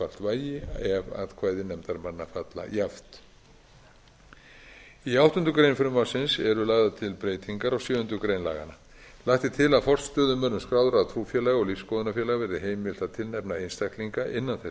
vægi ef atkvæði nefndarmanna falla jafnt í áttundu greinar eru lagðar til breytingar á sjöundu grein laganna lagt er til að forstöðumönnum skráðra trúfélaga og lífsskoðunarfélaga verði heimilt að tilnefna einstaklinga innan þess